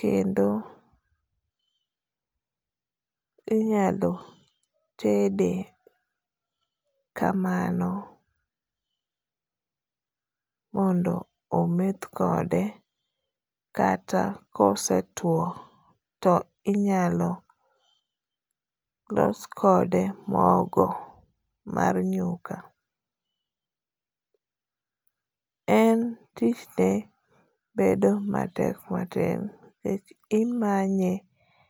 ,kendo inyalo tede kamano mondo ometh kode ,kata kosetuo to inyalo los kode mogo mar nyuka, en tichne bedo matek matin kech imanye